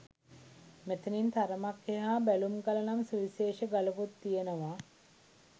මෙතැනින් තරමක් එහා බැලුම්ගල නම් සුවිශේෂ ගලකුත් තියෙනවා.